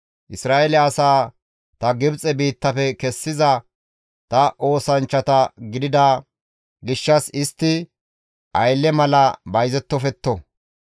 Isra7eele asaa ta Gibxe biittafe kessida ta oosanchchata gidida gishshas istti aylle mala bayzettofetto.